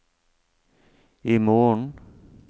imorgen